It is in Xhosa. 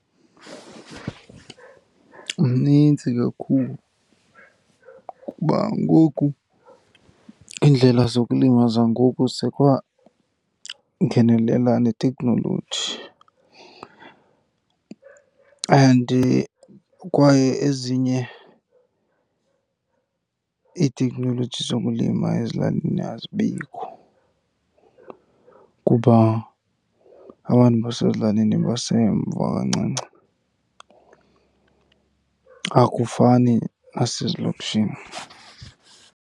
Mnintsi kakhulu kuba ngoku iindlela zokulima zangoku sekwangenelela neteknoloji and kwaye ezinye iiteknoloji zokulima ezilalini azibikho kuba abantu basezilalini basemva kancinci, akufani nasezilokishini.